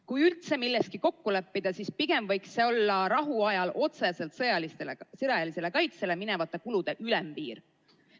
Kui üldse milleski kokku leppida, siis pigem võiks see olla rahuajal otseselt sõjalisele kaitsele minevate kulude ülempiir.